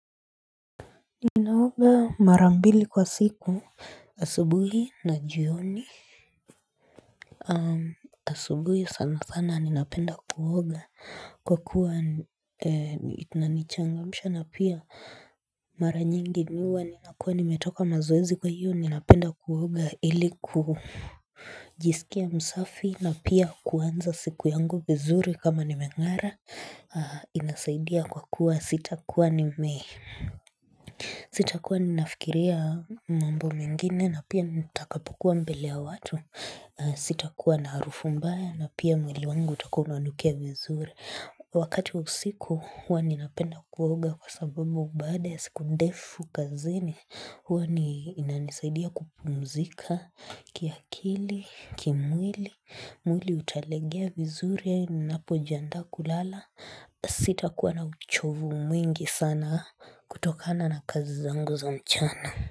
Ninaoga mara mbili kwa siku asubuhi na jioni asubuhi sana sana ninapenda kuoga kwa kuwa kunanichangamsha na pia mara nyingi niwa ninakua nimetoka mazoezi kwa hiyo ninapenda kuoga iliku jisikia msafi na pia kuanza siku yangu vizuri kama nimengara inasaidia kwa kuwa sitakuwa nime Sitakua ninafikiria mambo mingine na pia nitakapokuwa mbele ya watu. Sitakua na harufu mbaya na pia mwili wangu utakuwa unanukia vizuri. Wakati usiku hua ninapenda kuoga kwa sababu baada ya siku ndefu kazini hua inanisaidia kupumzika kiakili, kimwili, mwili utalegea vizuri napojiandaa kulala. Sitakuwa na uchovu mwingi sana kutokana na kazi zangu za mchana.